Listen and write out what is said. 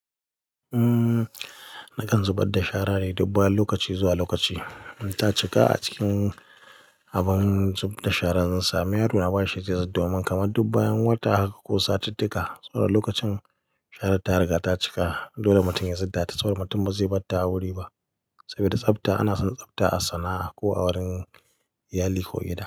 Nakan zubad da shara ne duk bayan lokaci zuwa lokaci. Ta cika a cikin abin zub da shara zan sami yaro, a bashi ciyasa domin kamar dub bayan wata haka ko satitika tsawon lokacin shara ta riga ta cika. Dole mutum yazud da saboda mutum ba zai bar ta a wuri ba saboda tsafta. Ana son tsafta a sana'a ko a wurin iyali ko gida.